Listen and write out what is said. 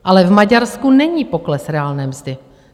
Ale v Maďarsku není pokles reálné mzdy.